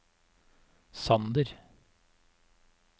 Sander